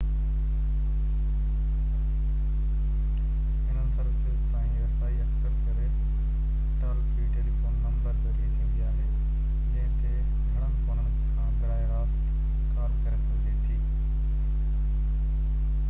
هنن سروسز تائين رسائي اڪثر ڪري ٽال-فري ٽيليفون نمبر ذريعي ٿيندي آهي جنهن تي گھڻن فونن کان براه راست ڪال ڪري سگهجي ٿي